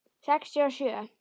Sextíu og sjö.